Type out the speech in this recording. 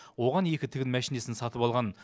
оған екі тігін мәшинесін сатып алған